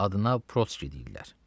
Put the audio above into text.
adına protski deyirlər.